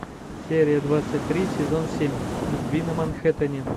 серия двадцать три сезон семь любви на манхэттене